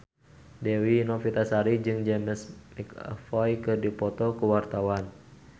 Dewi Novitasari jeung James McAvoy keur dipoto ku wartawan